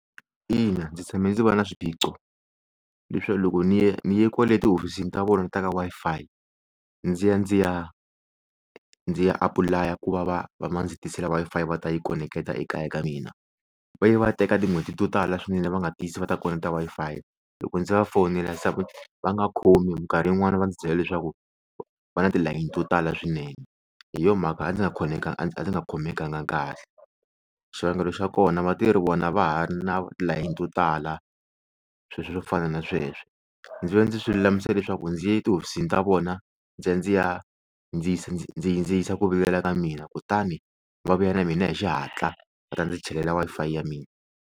Ina, ndzi tshame ndzi va na swiphiqo leswi loko ni ye ni ye kwale tihofisini ta vona ta ka Wi-Fi ndzi ya ndzi ya, ndzi ya apulaya ku va va ndzi tisela Wi-Fi va ta yi koneketa ekaya ka mina, va ye va teka tin'hweti to tala swinene va nga tisi va ta koneketa Wi-Fi loko ndzi va fonela se va nga khomi minkarhi yin'wana va ndzi byela leswaku va na tilayini to tala swinene hi yo mhaka a ndzi nga a ndzi nga khomekanga kahle, xivangelo xa kona va te ri vona va ha ri na tilayini to tala swilo swo fana na sweswo ndzi ve ndzi swi lulamisa leswaku ndzi ya etihofisini ta vona ndzi ya ndzi ya ndzi ndzi yisa ndzi yisa ku vilela ka mina kutani va vuya ka mina hi xihatla va ta ndzi chelela Wi-Fi ya mina.